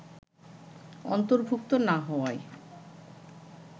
অন্তর্ভুক্ত না হওয়ায়